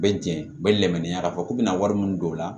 U bɛ jɛn u bɛ lamɛn k'a fɔ k'u bɛna wari min don o la